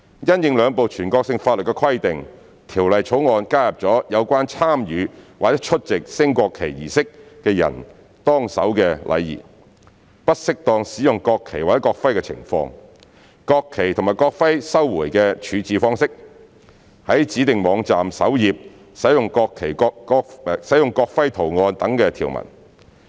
因應兩部全國性法律的規定，《條例草案》加入了有關參與或出席升國旗儀式的人當守的禮儀、不適當使用國旗或國徽的情況、國旗及國徽的收回處置方式、在指定網站首頁使用國徽圖案等條文。